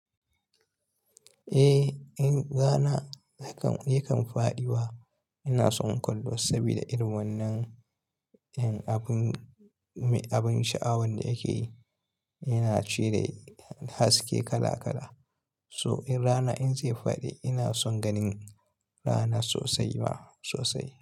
Eh, in rana yakan--yakan faɗi wa. Ina son kwallo saboda irin wannan, yan abun mai abun sha'awan da yake yi, yana cire haske kala kala. So in rana in zai faɗi, ina son ganin rana sosai ma sosai.